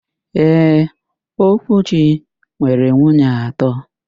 Ee, Okwuchi nwere nwunye atọ.